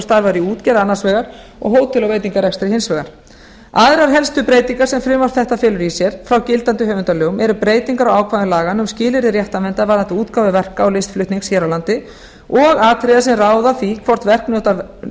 starfar í útgerð annars vegar og hótel og veitingarekstri hins vegar aðrar helstu breytingar sem frumvarp þetta felur í sér frá gildandi höfundalögum eru breytingar á ákvæðum laganna um skilyrði réttarverndar varðandi útgáfu verka og listflutnings hér á landi og atriða sem ráða því hvort